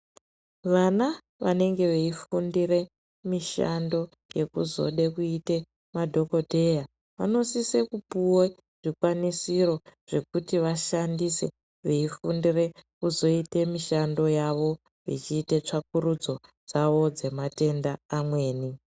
Vana vanenge veifundire mishando yekuzode kuite madhokoteya vanosise kupuwe zvikwanisiro zvekuti vashandise veifundire kuzoite mishando yavo vechiite tsvakurudzo dzavo dzematenda amweni.